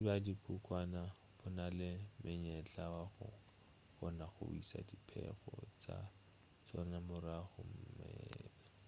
bontši bja dikhunkhwane bo na le monyetla wa go kgona go iša diphego tša tšona morago mmeleng